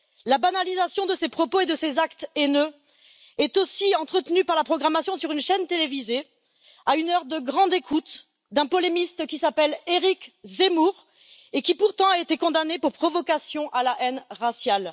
La banalisation de ces propos et de ces actes haineux est aussi entretenue par la programmation sur une chaîne télévisée, à une heure de grande écoute, d'un polémiste qui s'appelle Éric Zemmour, et qui pourtant a été condamné pour provocation à la haine raciale.